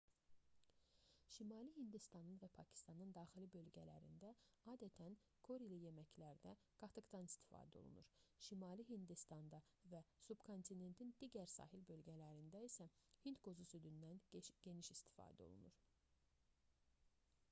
şimali hindistanın və pakistanın daxili bölgələrində adətən körili yeməklərdə qatıqdan istifadə olunur şimali hindistanda və subkontinentin digər sahil bölgələrində isə hindqozu südündən geniş istifadə olunur